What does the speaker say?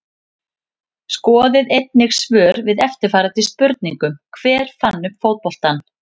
Skoðið einnig svör við eftirfarandi spurningum Hver fann upp fótboltann?